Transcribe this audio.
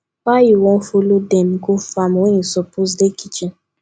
why you wan follow dem go farm when you suppose dey kitchen